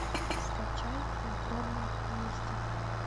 скачай в укромном месте